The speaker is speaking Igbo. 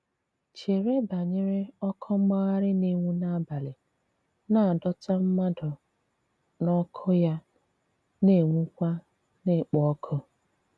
Chere banyere ọkụ̀ mgbagharị na-enwu n’abalị, na-adọta mmadụ n’ọkụ́ ya na-enwùkwà na-ekpo ọkụ.